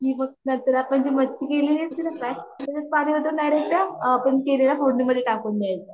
आपण जी मच्छी केली असती ना फ्राय आपण केलेल्या फोड़नी मधे टाकून द्यायच